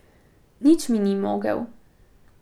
Nič mi ni mogel.